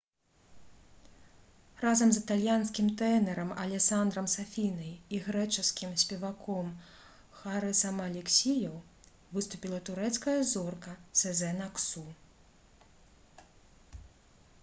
разам з італьянскім тэнарам алесандрам сафінай і грэчаскім спеваком харысам алексіёў выступіла турэцкая зорка сэзэн аксу